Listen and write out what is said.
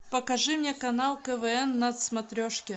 покажи мне канал квн на смотрешке